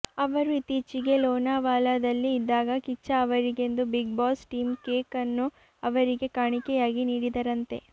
ಅವರು ಇತ್ತೀಚೆಗೆ ಲೋನಾವಾಲದಲ್ಲಿ ಇದ್ದಾಗ ಕಿಚ್ಚ ಅವರಿಗೆಂದು ಬಿಗ್ ಬಾಸ್ ಟೀಂ ಕೇಕ್ ನ್ನು ಅವರಿಗೆ ಕಾಣಿಕೆಯಾಗಿ ನೀಡಿದರಂತೆ